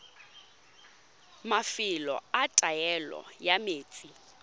mafelo a taolo ya metsi